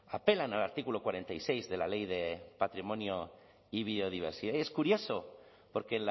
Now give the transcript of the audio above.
apelan al artículo cuarenta y seis de la ley de patrimonio y biodiversidad y es curioso porque